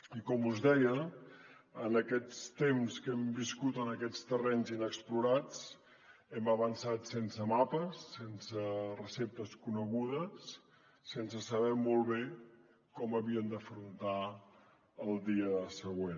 i com us deia en aquests temps que hem viscut en aquests terrenys inexplorats hem avançat sense mapes sense receptes conegudes sense saber molt bé com havíem d’afrontar el dia següent